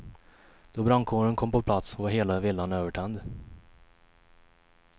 Då brandkåren kom på plats var hela villan övertänd.